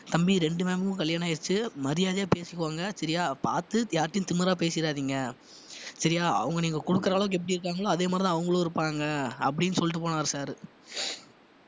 தம்பி ரெண்டு ma'am க்கும் கல்யாணம் ஆயிருச்சு மரியாதையா பேசிக்கோங்க சரியா பாத்து யார்ட்டயும் திமிரா பேசிறாதீங்க சரியா அவங்க நீங்க கொடுக்கிற அளவுக்கு எப்படி இருக்காங்களோ அதே மாதிரிதான் அவங்களும் இருப்பாங்க அப்படின்னு சொல்லிட்டு போனாரு sir உ